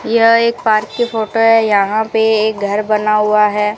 यह एक पार्क की फोटो है यहां पे एक घर बना हुआ है।